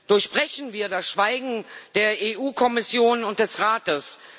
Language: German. Durchbrechen wir das Schweigen der EU Kommission und des Rates!